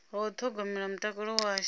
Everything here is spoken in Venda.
wa u ṱhogomela mutakalo washu